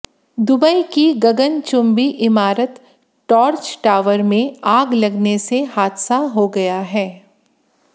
Dubai की गगनचुंबी इमारत टॉर्च टावर में आग लगने से हादसा हो गया है